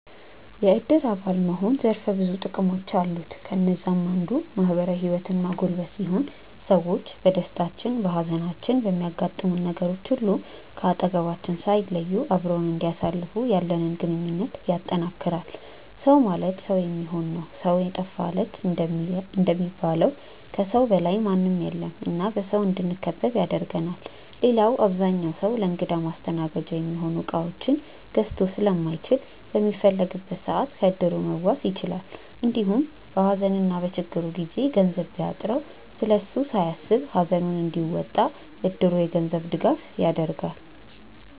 የዕድር አባል መሆን ዘርፈ ብዙ ጥቅሞች አሉት። ከነዛም አንዱ ማህበራዊ ህይወትን ማጎልበት ሲሆን ሰዎች በደስታችን፣ በሃዘናችን፣ በሚያጋጥሙን ነገሮች ሁሉ ከአጠገባችን ሳይለዩ አብረውን እንዲያሳልፉ ያለንን ግንኙነት ያጠነክራል። “ሰው ማለት ሰው የሚሆን ነው ሰው የጠፋ ለት” እንደሚባለው ከሰው በላይ ምንም የለም እና በሰው እንድንከበብ ያደርገናል። ሌላው አብዛኛው ሰው ለእንግዳ ማስተናገጃ የሚሆኑ እቃዎችን ገዝቶ ስለማይችል በሚፈልግበት ሰዓት ከዕድሩ መዋስ ይችላል። እንዲሁም በሃዘንና በችግሩ ጊዜ ገንዘብ ቢያጥረው ስለሱ ሳያስብ ሃዘኑን እንዲወጣ እድሩ የገንዘብ ድጋፍ ያደርጋል።